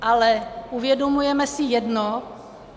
Ale uvědomujeme si jedno?